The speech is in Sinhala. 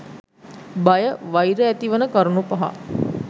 බය වෛර ඇතිවන කරුණු පහ